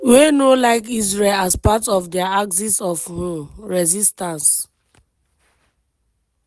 wey no like israel as part of dia axis of um resistance.